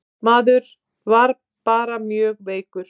Maður var bara mjög veikur.